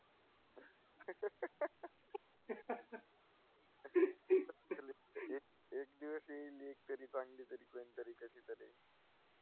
एक दिवस येईल एकतरी चांगली तरी कोणतरी कशीतरी.